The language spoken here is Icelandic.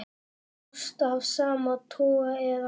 Ást af sama toga eða